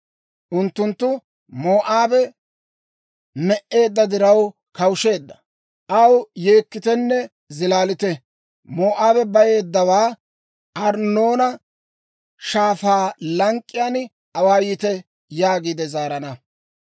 «Unttunttu, ‹Moo'aabe me"eedda diraw kawusheedda; aw yeekkitenne zilaalite! Moo'aabe bayeeddawaa Arnnoona Shaafaa lank'k'iyaan awaayite!› yaagiide zaarana.